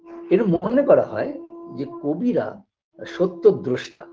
এরম মনে করা হয় যে কবিরা সত্যদ্রষ্টা